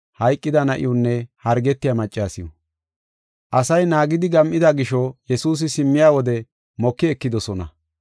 Asay naagidi gam7ida gisho Yesuusi simmiya wode moki ekidosona.